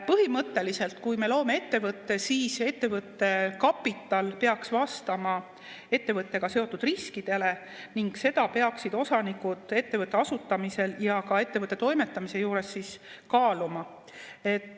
Põhimõtteliselt, kui me loome ettevõtte, siis ettevõtte kapital peaks vastama ettevõttega seotud riskidele ning seda peaksid osanikud ettevõtte asutamisel ja ka ettevõtte toimetamise juures kaaluma.